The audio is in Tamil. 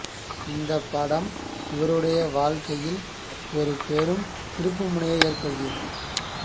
இந்த படம் இவருடைய வாழ்கையில் ஒரு பெரும் திருப்புமுனை ஏற்படுத்தியது